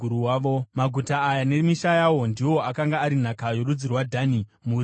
Maguta aya nemisha yawo ndiwo akanga ari nhaka yorudzi rwaDhani, mhuri nemhuri.